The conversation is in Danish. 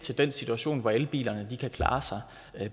til den situation hvor elbilerne kan klare sig